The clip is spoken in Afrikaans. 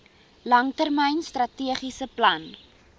langtermyn strategiese plan